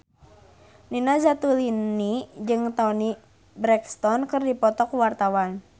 Nina Zatulini jeung Toni Brexton keur dipoto ku wartawan